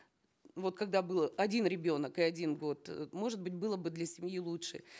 вот когда был один ребенок и один год э может быть было бы для семьи лучше